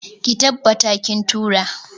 Ki tabbata kin tura!.